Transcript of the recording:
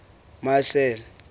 marcel